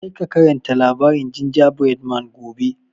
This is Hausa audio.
Kar ka karanta labarin Gingerbread man gobe!